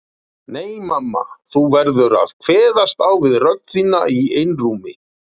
Nei mamma þú verður að kveðast á við rödd þína í einrúmi.